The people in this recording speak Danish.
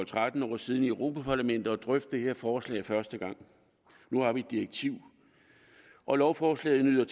tretten år siden i europa parlamentet fornøjelsen at drøfte det her forslag første gang nu har vi et direktiv og lovforslaget nyder